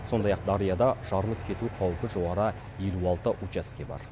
сондай ақ дарияда жарылып кету қаупі жоғары елу алты учаске бар